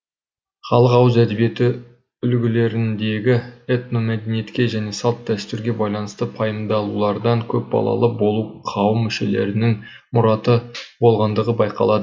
халық ауыз эдебиеті үлгілеріндегі этномәдениетке және салт дэстүрге байланысты пайымдаулардан көп балалы болу қауым мүшелерінің мұраты болғандығы байқалады